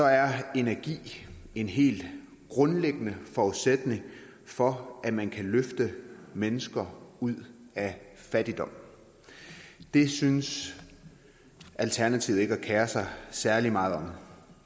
er energi en helt grundlæggende forudsætning for at man kan løfte mennesker ud af fattigdom det synes alternativet ikke at kere sig særlig meget om